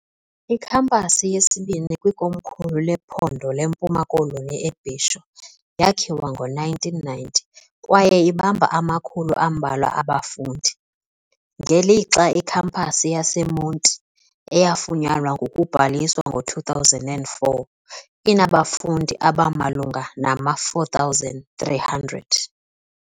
Ikhampasi yesibini kwikomkhulu lephondo leMpuma Koloni eBhisho yakhiwa ngo1990 kwaye ibamba amakhulu ambalwa abafundi, ngelixa iKhampasi yaseMonti, eyafunyanwa ngokubhaliswa ngo2004, inabafundi abamalunga nama4300.